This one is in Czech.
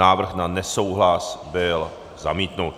Návrh na nesouhlas byl zamítnut.